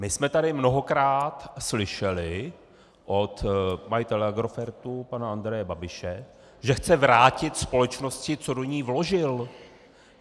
My jsme tady mnohokrát slyšeli od majitele Agrofertu pana Andreje Babiše, že chce vrátit společnosti, co do ní vložil.